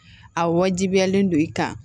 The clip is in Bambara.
A wajibiyalen don i kan